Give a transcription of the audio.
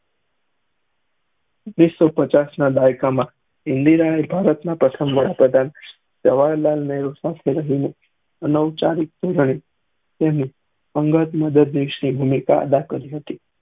વિશ્વ પચાસ ના દાયકા માં ઇન્દિરએ ભારત ના પ્રથમ વડા પ્રધાન સાથે જવાર્હારલાલ નેહરુ સાથે રહ્યી ને તેનું અમદાવાદ માં ભૂમિ અદા કરી થી